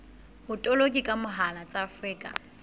botoloki ka mohala tsa afrika